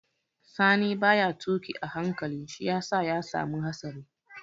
Sani ba ya tuƙi a hankali shi ya sa ya samu hatsari